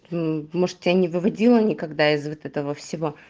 может я не выводила никогда из этого всего